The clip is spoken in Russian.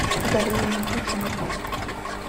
галину никитину